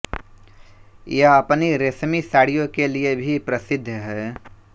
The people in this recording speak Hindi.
यह अपनी रेशमी साडि़यों के लिए भी प्रसिद्ध है